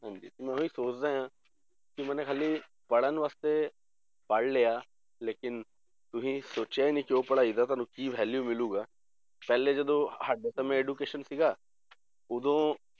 ਹਾਂਜੀ ਮੈਂ ਉਹੀ ਸੋਚਦਾ ਹਾਂ ਕਿ ਮੈਂ ਹਾਲੇ ਪੜ੍ਹਣ ਵਾਸਤੇ ਪੜ੍ਹ ਲਿਆ ਲੇਕਿੰਨ ਤੁਸੀਂ ਸੋਚਿਆ ਹੀ ਨੀ ਕਿ ਉਹ ਪੜ੍ਹਾਈ ਦਾ ਤੁਹਾਨੂੰ ਕੀ value ਮਿਲੇਗਾ ਪਹਿਲੇ ਜਦੋਂ ਹਾਲੇ ਤਾਂ ਮੈਂ education ਸੀਗਾ ਉਦੋਂ